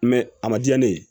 a ma diya ne ye